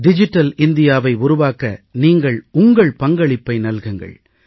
digital இந்தியாவை உருவாக்க நீங்கள் உங்கள் பங்களிப்பை நல்குங்கள்